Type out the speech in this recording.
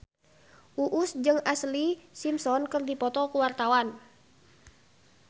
Uus jeung Ashlee Simpson keur dipoto ku wartawan